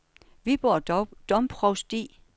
Viborg Domprovsti